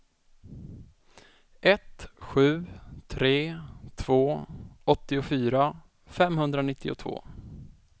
ett sju tre två åttiofyra femhundranittiotvå